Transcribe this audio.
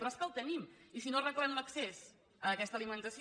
però és que el tenim i si no arreglem l’accés a aquesta alimentació